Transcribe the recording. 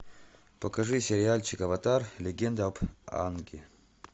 покажи сериальчик аватар легенда об аанге